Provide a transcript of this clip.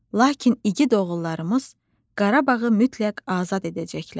Lakin igid oğullarımız Qarabağı mütləq azad edəcəklər.